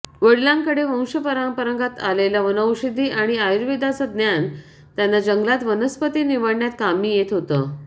वडिलांकडे वंशपरंपरागत आलेलं वनौषधी आणि आयुर्वेदाचं ज्ञान त्यांना जंगलात वनस्पती निवडण्यात कामी येत होतं